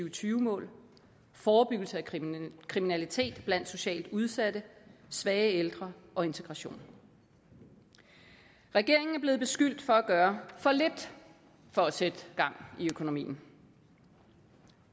og tyve mål forebyggelse af kriminalitet blandt socialt udsatte svage ældre og integration regeringen er blevet beskyldt for at gøre for lidt for at sætte gang i økonomien